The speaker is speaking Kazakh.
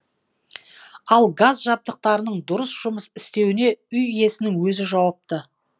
ал газ жабдықтарының дұрыс жұмыс істеуіне үй иесінің өзі жауапты